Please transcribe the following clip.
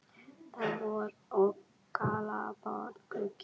Það er vor og galopinn gluggi.